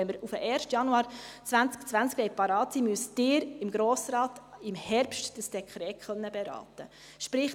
Wenn wir auf den 1. Januar 2020 bereit sein wollen, müssen Sie das Dekret im Herbst beraten können, sprich: